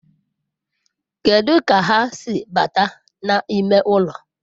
Kedu ka ha si bata n'ime ụlọ?